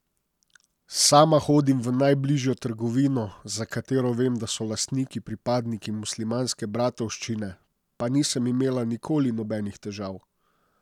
Sama hodim v najbližjo trgovino, za katero vem, da so lastniki pripadniki Muslimanske bratovščine, pa nisem imela nikoli nobenih težav.